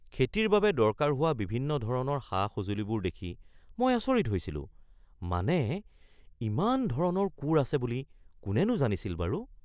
খেতিৰ বাবে দৰকাৰ হোৱা বিভিন্ন ধৰণৰ সা-সঁজুলিবোৰ দেখি মই আচৰিত হৈছিলোঁ। মানে, ইমান ধৰণৰ কোৰ আছে বুলি কোনেনো জানিছিল বাৰু?